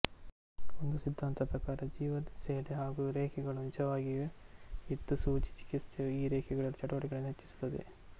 ಒಂದು ಸಿದ್ದಾಂತದ ಪ್ರಕಾರ ಜೀವಸೆಲೆ ಹಾಗೂ ರೇಖೆಗಳು ನಿಜವಾಗಿಯೂ ಇದ್ದುಸೂಜಿ ಚಿಕಿತ್ಸೆಯು ಈ ರೇಖೆಗಳಲ್ಲಿ ಚಟುವಟಿಕೆಗಳನ್ನು ಹೆಚ್ಚಿಸುತ್ತದೆ